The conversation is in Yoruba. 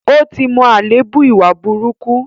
Ó ti mọ àléébù ìwà burúkú.